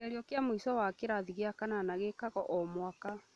Kĩgerio kĩa mũico wa kĩrathi gĩa kanana gĩĩkagwo o mwaka